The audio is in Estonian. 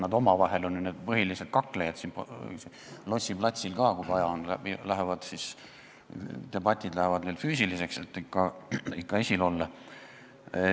Nad on omavahel põhilised kaklejad siin Lossi platsil ka, kui vaja on, debatid lähevad neil füüsiliseks, et ikka esil olla.